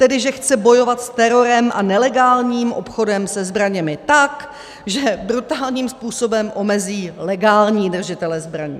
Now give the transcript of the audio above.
Tedy že chce bojovat s terorem a nelegálním obchodem se zbraněmi tak, že brutálním způsobem omezí legální držitele zbraní.